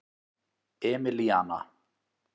Emilíana